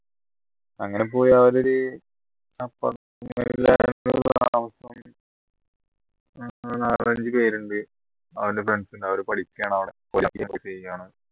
അങ്ങനെ പോയി അവിടെരു അവൻറെ friends ഉണ്ട് അവരെ പഠിക്കാണ് അവിടെ